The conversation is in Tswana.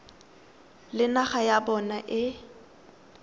le naga ya bona e